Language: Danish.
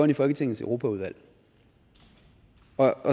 i folketingets europaudvalg